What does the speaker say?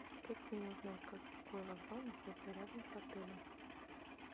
как мне узнать какой вокзал находится рядом с отелем